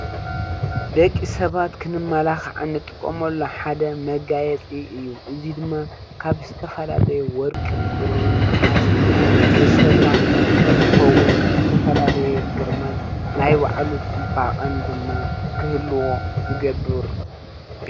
ደቂ ሰባት ክንመላካዕ እንጥቀመሉ ሓደ መጋየፂ እዩ ።እዚ ድማ ካብ ዝተፈላለዩ ወርቅን ብሩርን ነሃስን ዝስራሕ እንትከዉን ዝተፈላለየ ግርማን ናይ ባዕሉ ፅባቀን ድማ ክህልዎ ዝገብር።